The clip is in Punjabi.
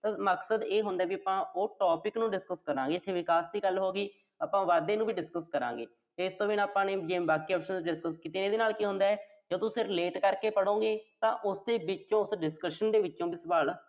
ਤਾਂ ਮਕਸਦ ਇਹ ਹੁੰਦਾ ਵੀ ਆਪਾਂ ਉਹ topic ਨੂੰ discuss ਕਰਾਂਗੇ। ਇੱਥੇ ਵਿਕਾਸ ਦੀ ਗੱਲ ਹੋਗੀ। ਆਪਾਂ ਵਾਧੇ ਨੂੰ ਵੀ discuss ਕਰਾਂਗੇ। ਇਸ ਤੋਂ ਬਿਨਾਂ ਆਪਾਂ ਜਿਵੇਂ ਬਾਕੀ options, discuss ਕੀਤੀਆ। ਇਹਦੇ ਨਾਲ ਕੀ ਹੁੰਦਾ, ਜੇ ਤੁਸੀਂ relate ਕਰਕੇ ਪੜ੍ਹੋਂਗੇ ਤਾਂ ਉਸਦੇ ਵਿੱਚੋਂ, ਉਸ discussion ਦੇ ਵਿੱਚੋਂ ਵੀ ਸਵਾਲ